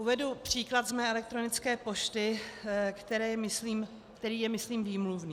Uvedu příklad ze své elektronické pošty, který je myslím výmluvný.